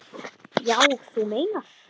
Já, þú meinar.